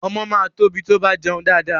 Ọmọ máa tóbi tí ó bá jẹun dáadáa.